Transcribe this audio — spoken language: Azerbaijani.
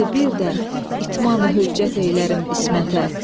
Şimdi bir də itmamı höccət eylərim İsmətə.